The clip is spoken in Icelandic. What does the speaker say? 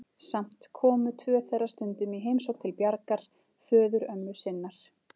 Samt komu tvö þeirra stundum í heimsókn til Bjargar, föðurömmu sinnar.